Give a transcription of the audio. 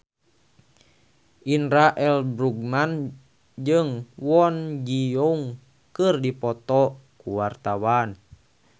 Indra L. Bruggman jeung Kwon Ji Yong keur dipoto ku wartawan